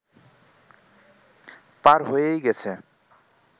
পার হয়েই গেছে